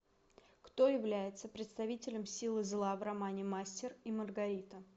кто является представителем силы зла в романе мастер и маргарита